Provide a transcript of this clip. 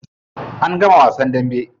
An gama wasan dambe.